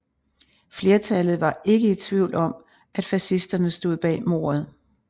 Flertallet var ikke i tvivl om at fascisterne stod bag mordet